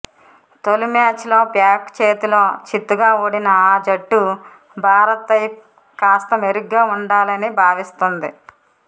తొలి మ్యాచ్లో పాక్ చేతిలో చిత్తుగా ఓడిన ఆ జట్టు భారత్పై కాస్త మెరుగ్గా ఆడాలని భావిస్తోంది